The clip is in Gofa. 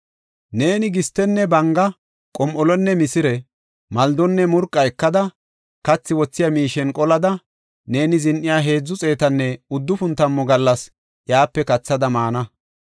“Neeni gistenne banga, qom7olonne misire, maldonne murqa ekada, kathi wothiya miishen qolada, neeni zin7iya heedzu xeetanne uddufun tammu gallas iyape kathada maana.